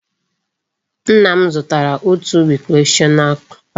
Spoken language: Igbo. Nna m zụtara òtù recreational park